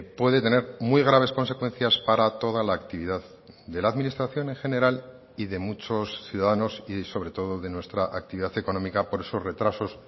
puede tener muy graves consecuencias para toda la actividad de la administración en general y de muchos ciudadanos y sobre todo de nuestra actividad económica por esos retrasos